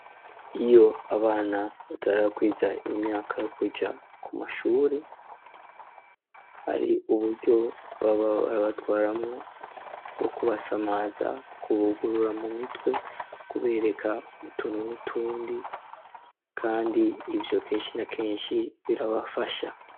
iyo abana batarakwiza imyaka yo kuja ku mashuri , hari uburyo baba barabatwaramwo bwo kubasamaza , kubugurura mu mitwe ,kubereka utuntu n'utundi , kandi ivyo kenshi na kenshi birabafasha.